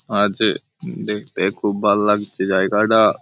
আর যে উম দেখতে খুব ভাল্লাগছে জায়গাটা--